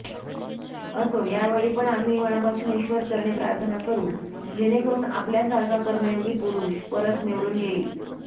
असो यावेळीपण आम्ही मनापासून ईश्वरचरणी प्रार्थना करू जेणेकरून आपल्या सारखा कर्मयोगी पुरुष परत निवडून येईल